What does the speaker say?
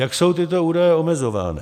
Jak jsou tyto údaje omezovány?